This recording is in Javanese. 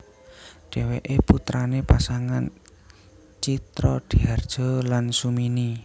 Dheweke putrane pasangan Tjitrodihardjo lan Sumini